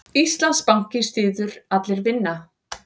Íslandsbanki styður Allir vinna